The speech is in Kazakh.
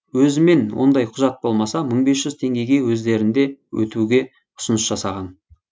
өзімен ондай құжат болмаса мың бес жүз теңгеге өздерінде өтуге ұсыныс жасаған